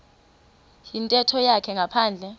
yintetho yakhe ngaphandle